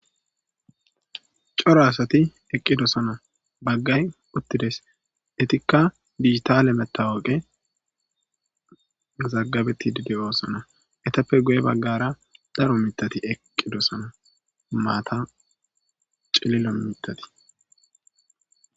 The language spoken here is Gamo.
Cora asathi eqqidosana; baggay uththi des; ethikka digitaale meththawoqe mazazaggabeththiidde de7oosana; ethappe guye baggara daro miththathi eqqidosana; maatha cillillo miththathi.